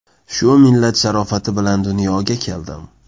Shu millat sharofati bilan dunyoga keldim.